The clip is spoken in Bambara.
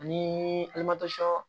Ani